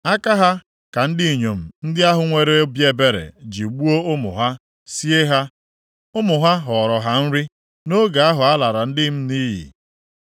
Aka ha ka ndị inyom ndị ahụ nwere obi ebere ji gbuo ụmụ ha, sie ha. Ụmụ ha ghọọrọ ha nri nʼoge ahụ a lara ndị m nʼiyi.